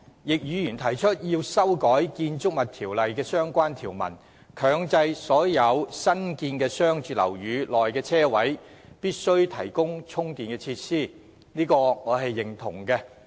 易議員提出修改《建築物條例》的相關條文，強制所有新建商住樓宇的車位均須提供充電設施，對此我表示認同。